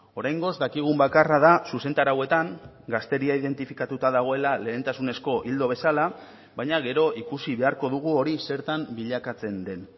oraingoz dakigun bakarra da zuzentarauetan gazteria identifikatuta dagoela lehentasunezko ildo bezala baina gero ikusi beharko dugu hori zertan bilakatzen den